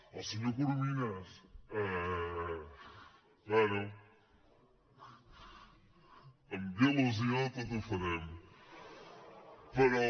al senyor corominas bé amb il·lusió tot ho farem però